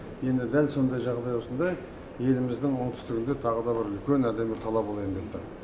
енді дәл сондай жағдай осындай еліміздің оңтүстігінде тағы да бір үлкен әдемі қала болайын деп тұр